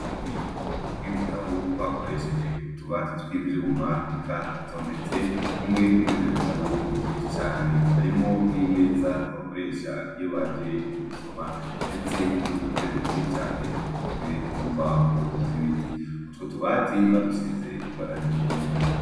Ububiko bw'ibitabu bakoresheje utubati tw'ivyuma bikatondetsebimwe murivyo vitabu vyinshi cane, harimwo n'imeza bakoresha iyo baje kubisoma ndetse n'udutebe twinshi cane dukozwe mu mbaho z'ibiti. Utwo tubabti badusize ibara ry'ubururu.